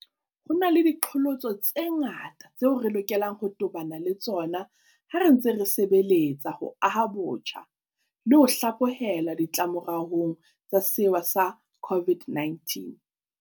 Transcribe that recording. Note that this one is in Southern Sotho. Ho na le diqholotso tse ngata tseo re lokelang ho tobana le tsona ha re ntse re sebeletsa ho aha botjha le ho hlaphohelwa ditlamoraong tsa sewa sa COVID-19.